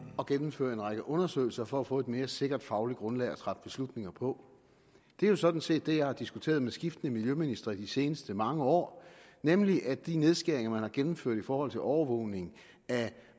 at gennemføre en række undersøgelser for at få et mere sikkert fagligt grundlag at træffe beslutninger på det er jo sådan set det jeg har diskuteret med skiftende miljøministre i de seneste mange år nemlig at de nedskæringer man har gennemført i forhold til overvågning af